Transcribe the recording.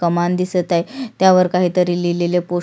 कमान दिसत आहे त्यावर काहीतर लिहलेले पोस --